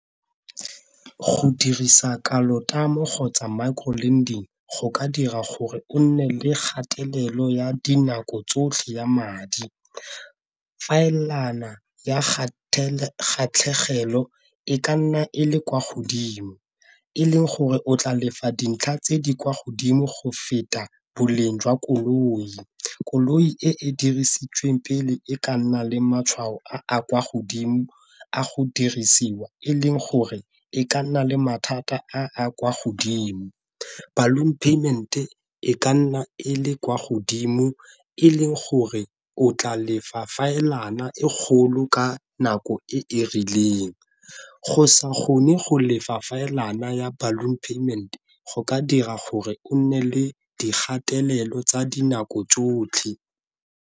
Go dirisa kgotsa micro lending go ka dira gore o nne le gatelelo ya dinako tsotlhe ya madi, e ka nna e le kwa godimo e leng gore o tla lefa dintlha tse di kwa godimo go feta boleng jwa koloi. Koloi e e dirisitsweng pele e ka nna le matshwao a a kwa godimo a go dirisiwa e leng gore e ka nna le mathata a a kwa godimo. Ballon payment-e e ka nna e le kwa godimo e leng gore o tla lefa e kgolo ka nako e e rileng, go sa kgone go lefa ya ballon payment go ka dira gore o nne le dikgatelelo tsa dinako tsotlhe.